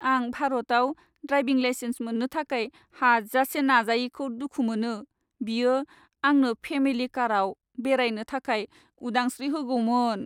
आं भारताव driving licence मोन्नो थाखाय हाजासे नाजायैखौ दुखु मोनो। बियो आंनो फेमिलि कारआव बेरायनो थाखाय उदांश्री होगौमोन।